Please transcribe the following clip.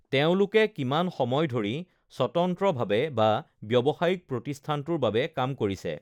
তেওঁলোকে কিমান সময় ধৰি স্বতন্ত্ৰভাৱে বা ব্যৱসায়িক প্ৰতিষ্ঠানটোৰ বাবে কাম কৰিছে?